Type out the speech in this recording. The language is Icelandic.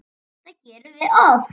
Þetta gerum við oft.